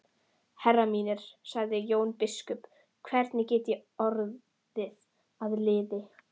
Herrar mínir, sagði Jón biskup,-hvernig get ég orðið að liði?